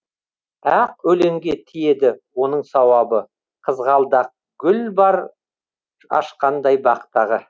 ақ өлеңге тиеді оның сауабы қызғалдақ гүл бар ашқандай бақтағы